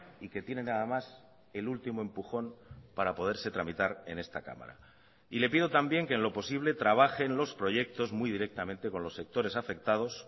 y que tiene nada más el último empujón para poderse tramitar en esta cámara y le pido también que en lo posible trabaje en los proyectos muy directamente con los sectores afectados